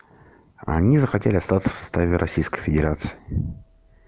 они захотели остаться в составе российской федерации